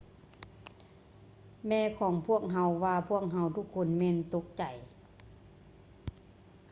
ແມ່ຂອງພວກເຮົາວ່າພວກເຮົາທຸກຄົນແມ່ນຕົກໃຈ